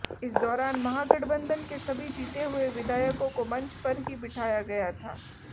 इस दौरान महागठबंधन के सभी जीते हुए विधायकों को मंच पर ही बिठाया गया था